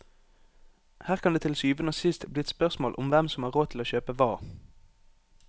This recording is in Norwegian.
Her kan det til syvende og sist bli et spørsmål om hvem som har råd til å kjøpe hva.